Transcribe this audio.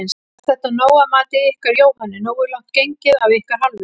Er þetta nóg að mati ykkar Jóhönnu, nógu langt gengið af ykkar hálfu?